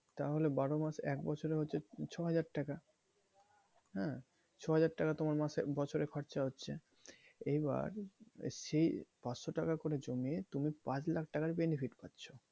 তাহলে বারো মাস এক বছরে হচ্ছে ছয় হাজার টাকা। হ্যাঁ? ছয় হাজার টাকা তোমার মাসে, বছরে খরচা হচ্ছে এবার সেই পাঁচশো টাকা করে জমিয়ে তুমি পাঁচ লাখ টাকার করে benefit পাচ্ছো।